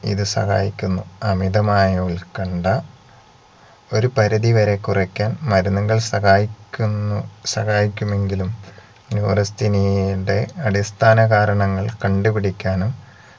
ഇത് സഹായിക്കുന്നു അമിതമായ ഉൽക്കണ്ഠ ഒരു പരിധിവരെ കുറക്കാൻ മരുന്നുകൾ സഹായിക്കുന്നു സഹായിക്കുമെങ്കിലും neurasthenia യുടെ അടിസ്ഥാന കാരണങ്ങൾ കണ്ടുപിടിക്കാനും